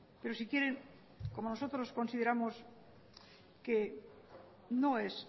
pero si quieren como nosotros consideramos que no es